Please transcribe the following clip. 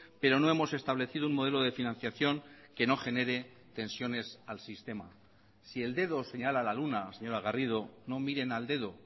pero no hemos establecido un modelo de financiación que no genere tensiones al sistema si el dedo señala a la luna señora garrido no miren al dedo